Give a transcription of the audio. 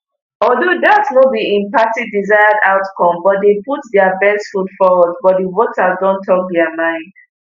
although dat no be im party desired outcome but dem put dia best foot forward but di voters don tok dia mind